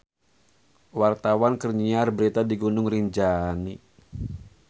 Wartawan keur nyiar berita di Gunung Rinjani